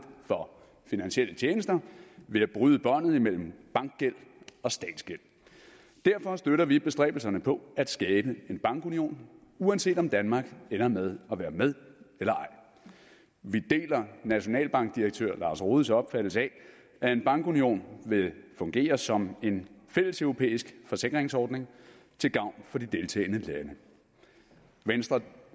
for finansielle tjenester ved at bryde båndet imellem bankgæld og statsgæld derfor støtter vi bestræbelserne på at skabe en bankunion uanset om danmark ender med at være med eller ej vi deler nationalbankdirektør lars rohdes opfattelse af at en bankunion vil fungere som en fælleseuropæisk forsikringsordning til gavn for de deltagende lande venstre